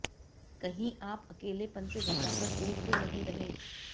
कहीं आप अकेलेपन से घबराकर टूट तो नहीं रहे